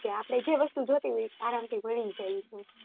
આપણે જે વસ્ત્તુ જોતી હોય આરામ થી મળી જાય છે.